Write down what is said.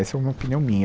Essa é uma opinião minha.